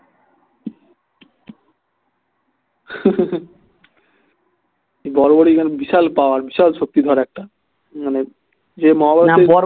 বড়বড়িকের বিশাল power বিশাল শক্তিধর একটা মানে ইএ মহাভারতের